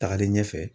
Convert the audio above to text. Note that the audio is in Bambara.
Tagalen ɲɛfɛ